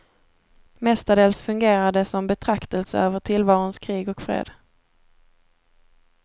Mestadels fungerar det som betraktelse över tillvarons krig och fred.